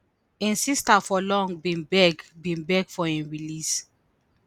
im sister for long bin beg bin beg for im release